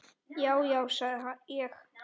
Já, já, sagði ég.